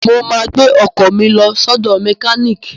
Mo ma gbẹ́ ọkọ̀ mi lọ sọ́dọ̀ mẹkíníìkì